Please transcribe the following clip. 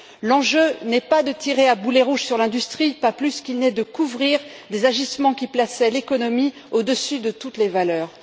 L'enjeu n'est pas de tirer à boulets rouges sur l'industrie, pas plus qu'il n'est de couvrir des agissements qui plaçaient l'économie au dessus de toutes les valeurs.